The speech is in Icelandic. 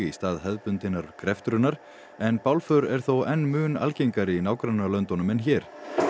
stað hefðbundinnar greftrunar en er þó enn mun algengari í nágrannalöndunum en hér